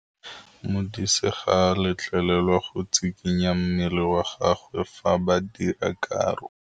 Modise ga a letlelelwa go tshikinya mmele wa gagwe fa ba dira karô.